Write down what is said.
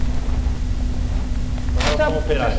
Trabalhou como operário.